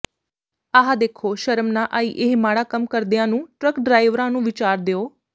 ਆਹ ਦੇਖੋ ਸ਼ਰਮ ਨਾ ਆਈ ਇਹ ਮਾੜਾ ਕੰਮ ਕਰਦਿਆਂ ਨੂੰ ਟਰੱਕ ਡਰਾਈਵਰਾਂ ਨੂੰ ਵਿਚਾਰ ਦਿਉ